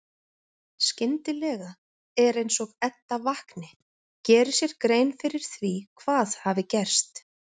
Skyndilega er eins og Edda vakni, geri sér grein fyrir því hvað hafi gerst.